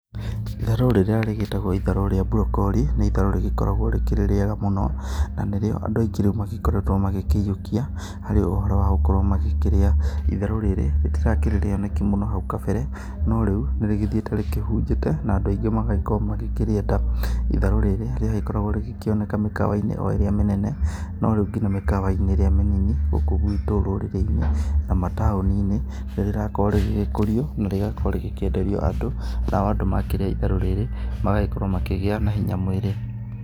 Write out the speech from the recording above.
Itharũ rĩrĩa rĩgĩtagwo itharũ rĩa brokori, nĩ itharũ rĩgĩkoragwo rĩkĩrĩ riega mũno, na nĩrĩo andũ aingĩ reu magĩkoretwo magĩkĩyũkia harĩ ũhoro wa gũkorwo magĩkĩrĩa. Itharũ rĩrĩ rĩtirakĩrĩ rĩoneki mũno hau kabere, no reu nĩ rĩgĩthiĩte rĩkĩhunjĩte na andũ aingĩ magagĩkorwo magĩkĩrĩenda. Itharũ rĩrĩ rĩagĩkoragwo rĩgĩkĩoneka mĩkawa-inĩ o ĩrĩa mĩnene, no reu ngina mĩkawa-inĩ ĩrĩa mĩnini, gũkũ gwĩtũ rũrĩrĩ-inĩ, na mataũni-inĩ nĩ rĩrakorwo rĩgĩgĩkũrio, na rĩgakorwo rĩgĩkĩenderio andũ. Nao andũ makĩrĩa itharũ rĩrĩ magagĩkorwo makĩgĩa na hinya mwĩrĩ.